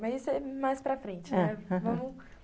Mas isso é mais para frente, né? aham.